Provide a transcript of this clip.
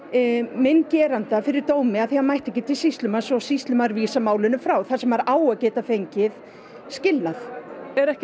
minn geranda fyrir dómi af því hann mætti ekki til sýslumanns og sýslumaður vísar málinu frá þar sem maður á að geta fengið skilnað er ekki